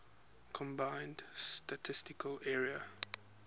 combined statistical area